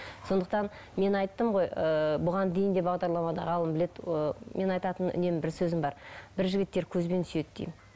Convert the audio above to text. сондықтан мен айттым ғой ыыы бұған дейін де бағдарламада ғалым біледі ы мен айтатын үнемі бір сөзім бар бір жігіттер көзбен сүйеді деймін